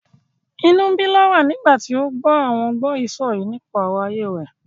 Inú ń bí Laura nígbà tí ó gbọ́ àwọn gbọ́yìísọ̀yìí nípa ọ̀rọ̀ ayé rẹ̀.